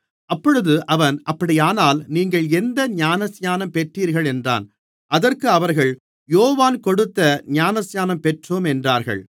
அப்பொழுது அவன் அப்படியானால் நீங்கள் எந்த ஞானஸ்நானம் பெற்றீர்கள் என்றான் அதற்கு அவர்கள் யோவான் கொடுத்த ஞானஸ்நானம் பெற்றோம் என்றார்கள்